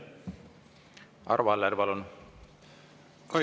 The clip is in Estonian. Arvo Aller, palun!